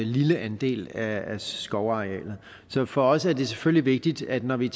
lille andel af skovarealet så for os er det selvfølgelig vigtigt at vi når vi